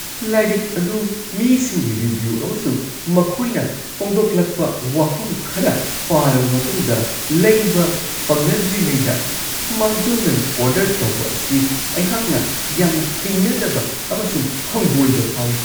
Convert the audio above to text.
ꯂꯥꯏꯔꯤꯛ ꯑꯗꯨ ꯃꯤꯁꯤꯡꯒꯤ ꯔꯤꯚ꯭ꯌꯨ ꯑꯃꯁꯨꯡ ꯃꯈꯣꯏꯅ ꯐꯣꯛꯗꯣꯛꯂꯛꯄ ꯋꯥꯐꯝ ꯈꯔ ꯄꯥꯔꯕ ꯃꯇꯨꯡꯗ ꯂꯩꯕ ꯐꯪꯅꯗ꯭ꯔꯤꯉꯩꯗ ꯃꯥꯡꯖꯧꯅꯅ ꯑꯣꯔꯗꯔ ꯇꯧꯕ ꯑꯁꯤ ꯑꯩꯍꯥꯛꯅ ꯌꯥꯝꯅ ꯍꯩꯅꯗꯕ ꯑꯃꯁꯨꯡ ꯍꯪꯒꯣꯏꯕ ꯐꯥꯎꯋꯤ ꯫